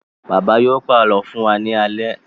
Bàbá yóò pàlọ́ fún wa ní alẹ́.